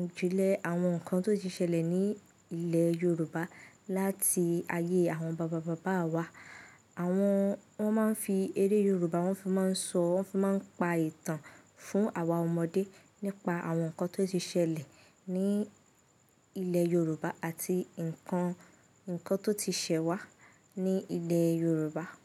ìjìnlẹ̀ àwọn nǹkan tó ti ṣẹlẹ̀ ní ilẹ̀ Yorùbá láti ayé àwọn bàbá bàbá wa. Àwọn, wọ́n máa ń fi eré Yorùbá, wọ́n fi máa ń sọ̀, wọ́n fi máa ń pa ìtàn fún àwa ọmọdé nípa àwọn nǹkan tó ti ṣẹlẹ̀ ní ilẹ̀ Yorùbá àti nǹkan, nǹkan tó ti ṣẹwá ní ilẹ̀ Yorùbá.